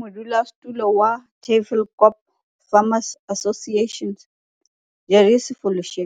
Modulosetulo wa Tafelkop Farmers Association, Jerry Sefoloshe,